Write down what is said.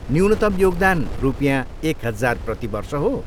न्यूनतम योगदान रुपियाँ एक हजार प्रति वर्ष हो।